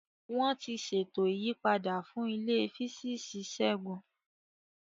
Wọ́n ti ṣètò ìyípadà fún ilé Físíìsì Segun.